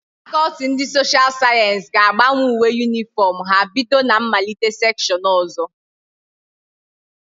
Faculty ndi social science ga agbanwe uwe uniform ha bido na mmalite section ozo